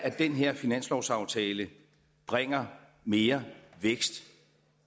den her finanslovsaftale bringer mere vækst